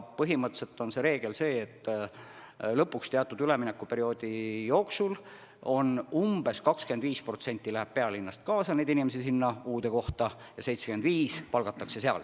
Põhimõtteliselt kehtib reegel, et teatud üleminekuperioodi jooksul umbes 25% inimesi kolib pealinnast uude kohta ja 75% palgatakse kohapeal.